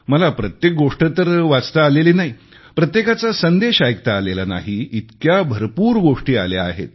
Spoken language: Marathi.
मला प्रत्येक गोष्ट तर वाचता आलेली नाही प्रत्येकाचा संदेश ऐकता आलेला नाही इतक्या भरपूर गोष्टी आल्या आहेत